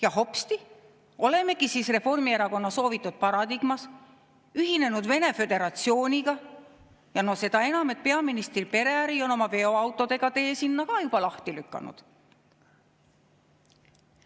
Ja hopsti, olemegi siis Reformierakonna soovitud paradigmas ühinenud Venemaa Föderatsiooniga, seda enam, et peaministri pereäri on oma veoautodega tee sinna juba lahti lükanud.